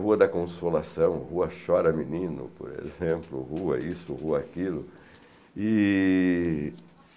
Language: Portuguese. Rua da Consolação, Rua Chora Menino, por exemplo, rua isso, rua aquilo. E